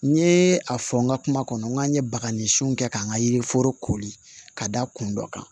N ye a fɔ n ka kuma kɔnɔ n k'an ye bagajiw kɛ k'an ka yiriforo kori ka da kun dɔ kan